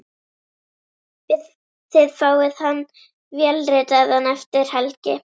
Þið fáið hann vélritaðan eftir helgi.